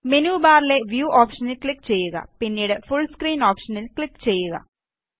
menu ബാറിലെ view ഓപ്ഷനില് click ചെയ്യുക പിന്നീട് ഫുൾ സ്ക്രീൻ ഓപ്ഷനില് ക്ലിക് ചെയ്യുക